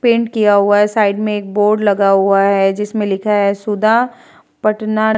paint किया हुआ है साइड में एक बोर्ड लगा हुआ है जिसमें लिखा है सुधा पटना --